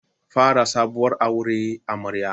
Fara sabuwar aure amarya.